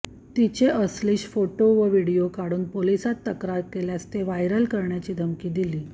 तिचे अश्लील फोटो व व्हिडीओ काढून पोलिसांत तक्रार केल्यास ते व्हायरल करण्याची धमकी दिली